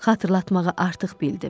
Xatırlatmağı artıq bildim.